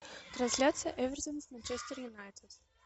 трансляция эвертон с манчестер юнайтед